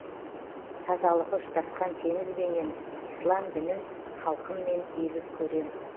тазалығы ұштасқан теңізбенен ислам дінін халқыммен егіз көрем